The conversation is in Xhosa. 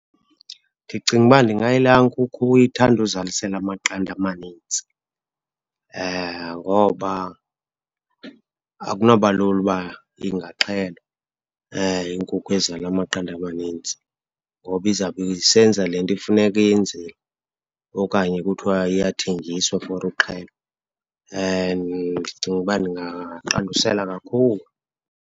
Ndicinga uba ndingayilaa nkukhu ithanda uzalisela amaqanda amanintsi. Ngoba akunaba lula uba ingaxhelwa inkukhu ezala amaqanada amanintsi ngoba izawube isenza le nto ifuneka iyenzile, okanye kuthiwa iyathengiswa for uxhelwa. Ndicinga uba ndingaqandusela kakhulu.